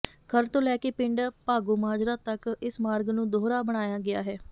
ਖਰੜ ਤੋਂ ਲੈ ਕੇ ਪਿੰਡ ਭਾਗੋਮਾਜਰਾ ਤੱਕ ਇਸ ਮਾਰਗ ਨੂੰ ਦੂਹਰਾ ਬਣਾਇਆ ਗਿਆ ਹੈ